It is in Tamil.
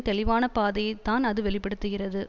தெளிவான பாதையைதான் அது வெளி படுத்துகிறது